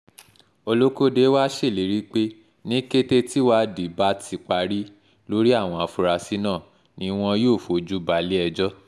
olókóde wàá ṣèlérí pé ní kété tíwádìí bá ti parí lórí àwọn afurasí náà ni wọn yóò fojú balẹ̀-ẹjọ́